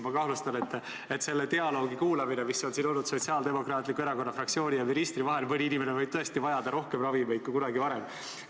Ma kahtlustan, et kuulates seda dialoogi, mis on siin olnud Sotsiaaldemokraatliku Erakonna fraktsiooni ja ministri vahel, võib mõni inimene tõesti vajada rohkem ravimeid kui kunagi varem.